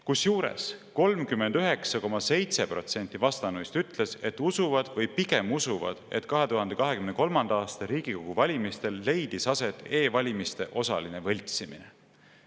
Kusjuures 39,7% vastanuist ütles, et usuvad või pigem usuvad, et 2023. aasta Riigikogu valimistel leidis aset e-valimiste osaline võltsimine.